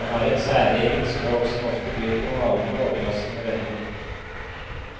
Han har et særegent språk som ofte byr på malende og overraskende vendinger.